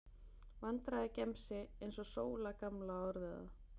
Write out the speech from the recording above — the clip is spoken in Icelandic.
Vandræðagemsi, eins og Sóla gamla orðaði það.